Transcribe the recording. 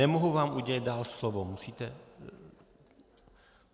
Nemohu vám udělit dál slovo, musíte...